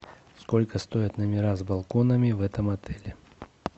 сколько стоят номера с балконами в этом отеле